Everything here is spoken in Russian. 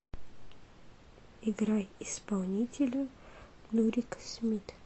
играй исполнителя нурик смит